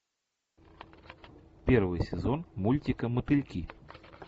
первый сезон мультика мотыльки